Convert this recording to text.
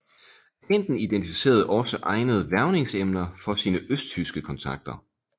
Agenten identificerede også egnede hvervningsemner for sine østtyske kontakter